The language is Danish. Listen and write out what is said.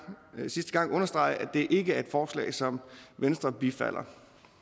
understrege at det her ikke er et forslag som venstre bifalder